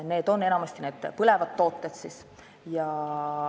Need on siis enamasti need põlevad tooted.